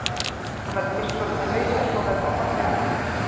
Hann verður fyrst svolítið rauður en svo verður hann fallega brúnn.